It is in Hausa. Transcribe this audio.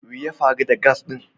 We ya faru da "gas" din?